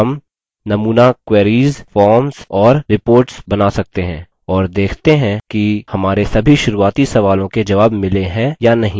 हम नमूना queries forms और reports बना सकते हैं और देखते हैं कि हमारे सभी शुरुआती सवालों के जवाब मिले हैं या नहीं